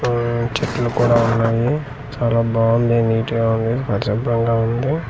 ఊ-ఊ చెట్లు కూడా ఉన్నాయి చాలా బాగుంది నీట్ గా ఉంది పరిశుబ్రంగా ఉంది.